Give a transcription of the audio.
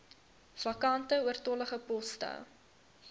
vakante oortollige poste